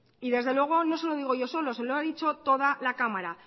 desde luego no se lo digo yo solo se lo ha dicho toda la cámara